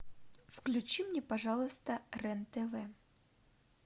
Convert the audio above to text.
включи мне пожалуйста рен тв